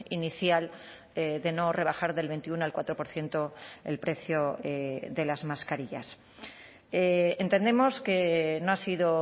inicial de no rebajar del veintiuno al cuatro por ciento el precio de las mascarillas entendemos que no ha sido